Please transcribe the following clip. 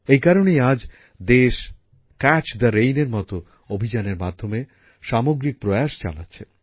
এই কারণেই আজ দেশ ক্যাচ দ্য রেইন এর মত অভিযানের মাধ্যমে সামগ্রিক প্রয়াস চালাচ্ছে